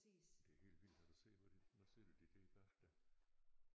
Og det er helt vildt har du set hvor de nu sidder de der bag dig